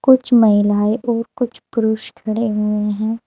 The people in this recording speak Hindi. कुछ महिलाएं और कुछ पुरुष खड़े हुए हैं।